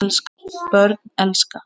Börn elska.